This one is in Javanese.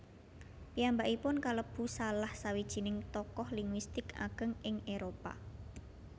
Piyambakipun kalebu salah sawijining tokoh linguistik ageng ing eropa